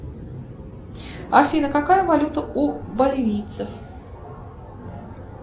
афина какая валюта у боливийцев